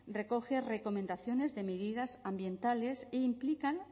recoge recomendaciones de medidas ambientales e implican